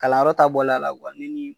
Kalanyɔrɔ ta bɔlen a la kuwa ne ni